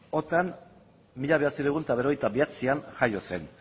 otan mila bederatziehun eta berrogeita bederatzian jaio zen